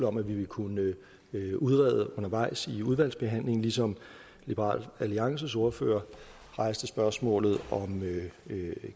om at vi vil kunne udrede undervejs i udvalgsbehandlingen ligesom liberal alliances ordfører rejste spørgsmålet om